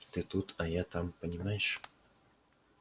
ты тут а я там понимаешь